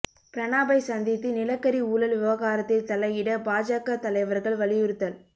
பிரணாபை சந்தித்து நிலக்கரி ஊழல் விவகாரத்தில் தலையிட பாஜக தலைவர்கள் வலியுறுத்தல்